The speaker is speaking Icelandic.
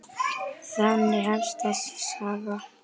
Þannig hefst þessi saga.